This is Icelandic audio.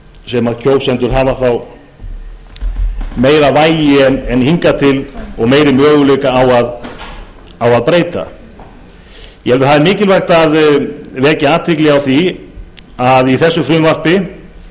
sem kjósendur hafa þá meiri möguleika á að breyta það er mikilvægt að vekja athygli á því að í frumvarpinu er gert ráð fyrir